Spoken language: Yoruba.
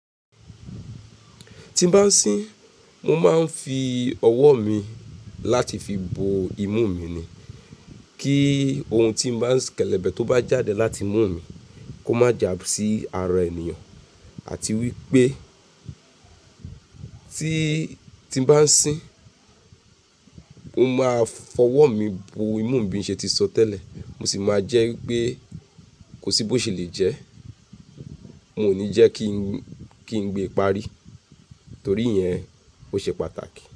Tí n bá sín, mo máa ń fi ọwọ́ mi láti fi bo imú mi ni. Kí ohun tí n bá kelebe tó bá jáde láti imú mi kó má jà sí ara ènìyàn. Àti wípé tí, tí n bá sín, mo máa fọwọ́ mi bo imú mi bí n ṣe ti sọ tẹ́lẹ̀. Mo sì máa jẹ́ wípé kò sí bó ṣe le jẹ́, mo ní jẹ́ kí ń, kí ń gbé parí. Torí yẹn ó ṣe pàtàkì.